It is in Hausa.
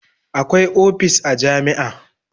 Akwai opis a jami'a